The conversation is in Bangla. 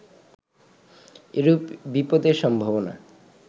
এরূপ বিপদের সম্ভাবনা